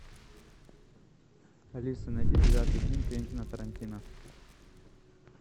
алиса найди девятый фильм квентина тарантино